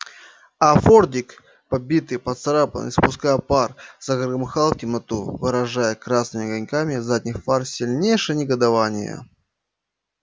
а фордик побитый поцарапанный испуская пар загромыхал в темноту выражая красными огоньками задних фар сильнейшее негодование